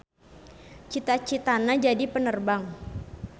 Cita-citana jadi penerbang.